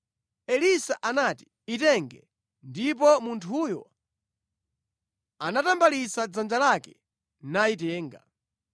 Elisa anati, “Itenge.” Ndipo munthuyo anatambalitsa dzanja lake nayitenga.